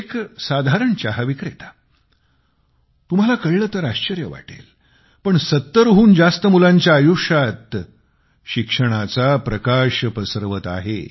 एक साधारण चहाविक्रेता तुम्हाला कळले तर आश्चर्य वाटेल पण 70 हून जास्त मुलांच्या आयुष्यात ते शिक्षणाचा प्रकाश पसरवत आहे